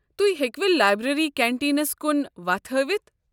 تہۍ ہیكِوٕ لایبریٚری کنٹیٖنس کُن وتھ ہٲوتھ؟